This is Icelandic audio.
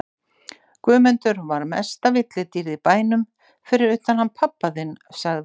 Guðmundur var mesta villidýrið í bænum fyrir utan hann pabba þinn sagði